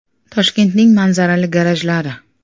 Toshkentning “manzarali” garajlari .